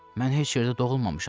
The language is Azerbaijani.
Mən heç yerdə doğulmamışam.